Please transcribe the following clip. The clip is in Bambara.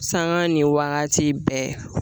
Sanga ni waati bɛɛ